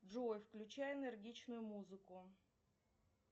джой включай энергичную музыку